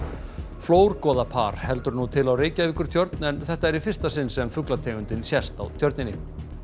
flórgoða par heldur nú til á Reykjavíkurtjörn en þetta er í fyrsta sinn sem sést á Tjörninni